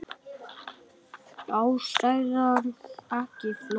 Ástæðan ekki flókin.